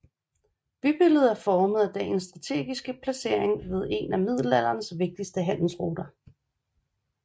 Bybilledet er formet af byens strategiske placering ved en af middelalderens vigtigste handelsruter